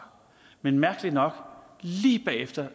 men mærkeligt nok lige efter